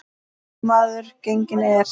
Góður maður genginn er.